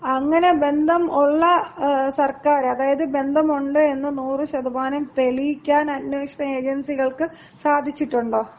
അങ്ങനെ ബന്ധം ഉള്ള സർക്കാര്, അതായത് ബന്ധമുണ്ട് എന്ന് 100% തെളിയിക്കാൻ അന്വേഷണ ഏജൻസികൾക്ക് സാധിച്ചിട്ടുണ്ടോ?